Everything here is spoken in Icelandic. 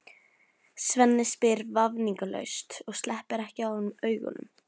Svenni spyr vafningalaust og sleppir ekki af honum augunum.